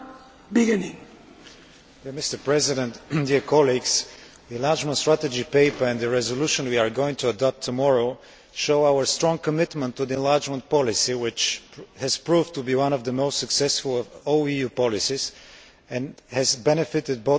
Mr President, the enlargement strategy paper and the resolution we are going to adopt tomorrow show our strong commitment to the enlargement policy, which has proved to be one of the most successful of all EU policies and has benefited both existing and new Member States.